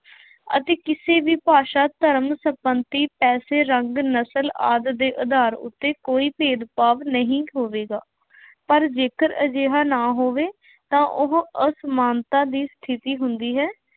ਅਤੇ ਕਿਸੇ ਵੀ ਭਾਸ਼ਾ, ਧਰਮ, ਸੰਪੱਤੀ, ਪੈਸੇ, ਰੰਗ, ਨਸਲ ਆਦਿ ਦੇ ਆਧਾਰ ਉੱਤੇ ਕੋਈ ਭੇਦਭਾਵ ਨਹੀਂ ਹੋਵੇਗਾ। ਪਰ ਜੇਕਰ ਅਜਿਹਾ ਨਾ ਹੋਵੇ ਤਾਂ ਉਹ ਅਸਮਾਨਤਾ ਦੀ ਸਥਿਤੀ ਹੁੰਦੀ ਹੈ।